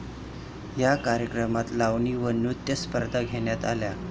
या कार्यक्रमात लावणी व नृत्यस्पर्धाही घेण्यात आल्या.